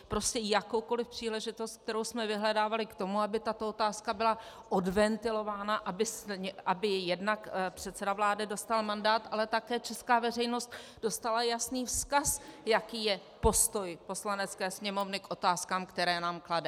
Prostě jakoukoli příležitost, kterou jsme vyhledávali k tomu, aby tato otázka byla odventilována, aby jednak předseda vlády dostal mandát, ale také česká veřejnost dostala jasný vzkaz, jaký je postoj Poslanecké sněmovny k otázkám, které nám klade.